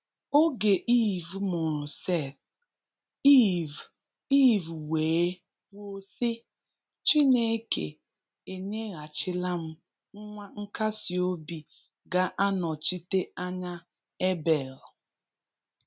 Oge Eve mụrụ Seth, Eve Eve wee kwuo sị, “Chineke enyeghachila m nwa nkasi obi ga-anọchite anya Abel”.